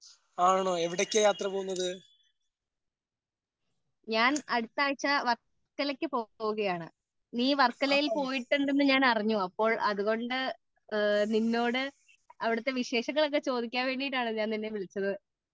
ഞാൻ അടുത്ത ആഴ്ച വർക്കലക്ക് പോവുകയാണ് നീ വർക്കലയിൽ പോയിട്ടുണ്ട് എന്ന് ഞാൻ അറിഞ്ഞു അപ്പോൾ അതുകൊണ്ട് നിന്നോട് അവിടത്തെ വിശേഷങ്ങൾ ഒക്കെ ചോദിക്കാം വേണ്ടിയിട്ടാണ് ഞാൻ നിന്നെ വിളിച്ചത്